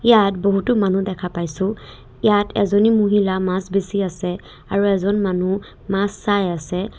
ইয়াত বহুতো মানুহ দেখা পাইছোঁ ইয়াত এজনী মহিলা মাছ বেছি আছে আৰু এজন মানুহ মাছ চাই আছে।